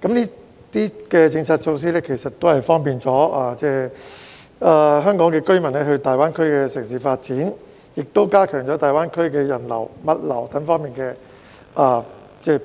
這些政策措施方便了香港居民到大灣區的城市發展，也加強了大灣區的人流、物流等方面的便通。